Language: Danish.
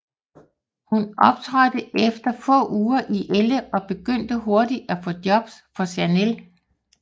Hun optrådte efter få uger i Elle og begyndte hurtigt at få jobs for Chanel